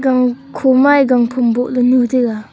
khoma ye gangphom bohley nu taiga.